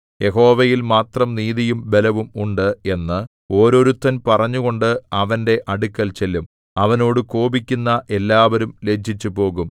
യഹോവയിൽ മാത്രം നീതിയും ബലവും ഉണ്ട് എന്ന് ഓരോരുത്തൻ പറഞ്ഞുകൊണ്ട് അവന്റെ അടുക്കൽ ചെല്ലും അവനോട് കോപിക്കുന്ന എല്ലാവരും ലജ്ജിച്ചുപോകും